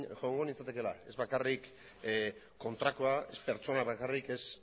joango nintzatekeela ez bakarrik kontrakoa ez pertsona bakarrik ez